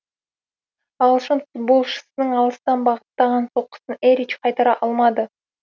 ағылшын футболшысының алыстан бағыттаған соққысын эрич қайтара алмады